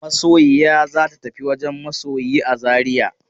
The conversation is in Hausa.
Masoyiya za ta tafi wajen masoyi a Zariya.